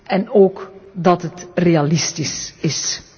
en ook dat het realistisch is.